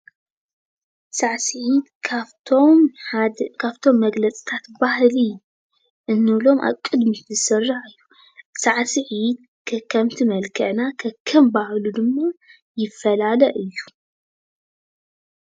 ሳዕስዒት ካፍቶም ሓደ ካፍቶም መግለፂታት ባህሊ እንብሎም ኣብ ቅድሚት ዝስራዕ ሳዕስዒት ከከም መልክዕና ከከም ባህሉ ድማ ይፈላለ እዩ፡፡